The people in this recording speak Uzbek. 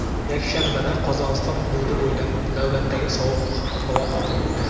Yakshanbada Qozog‘iston hududi bo‘ylab navbatdagi sovuq havo oqimi o‘tadi.